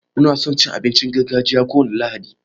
Mu na son cin abincin gargajiya kowane lahadi.